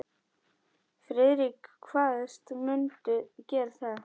Friðrik kvaðst mundu gera það.